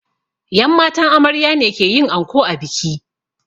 Yan matan amarya ne ke yin anko a biki